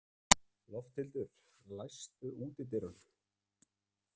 Lofthildur, læstu útidyrunum.